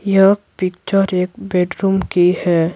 यह पिक्चर एक बेडरूम की है।